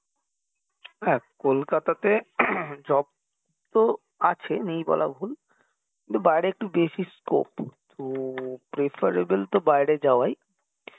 হ্যাঁ কলকাতাতে job তো আছে নেই বলাও ভুল কিন্তু বাইরে একটু বেশি scope তো preferable তো বাইরে যাওয়াই